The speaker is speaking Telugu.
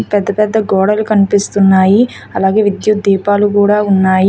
పెద్ద పెద్ద గోడలు కనిపిస్తున్నాయి అలాగే విద్యుత్ దీపాలు కూడా ఉన్నాయి.